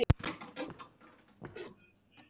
Í fyrndinni.